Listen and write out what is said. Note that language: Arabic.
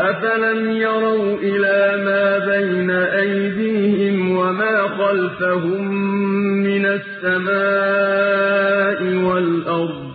أَفَلَمْ يَرَوْا إِلَىٰ مَا بَيْنَ أَيْدِيهِمْ وَمَا خَلْفَهُم مِّنَ السَّمَاءِ وَالْأَرْضِ